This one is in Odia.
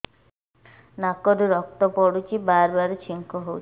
ନାକରୁ ରକ୍ତ ପଡୁଛି ବାରମ୍ବାର ଛିଙ୍କ ହଉଚି